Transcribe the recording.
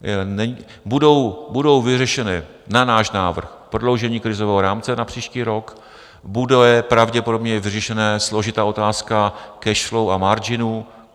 Bude vyřešené na náš návrh prodloužení krizového rámce na příští rok, bude pravděpodobně vyřešená složitá otázka cash flow a marginu.